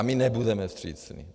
A my nebudeme vstřícní.